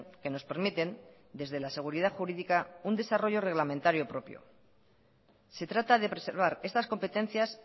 que nos permiten desde la seguridad jurídica un desarrollo reglamentario propio se trata de preservar estas competencias